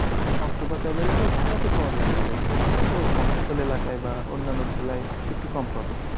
Octopus available ঢাকাতে পাওয়া যায় available. কিন্তু আমরা তো মফস্সল এলাকায় বা অন্যান্য জেলায় একটু কম পাবো।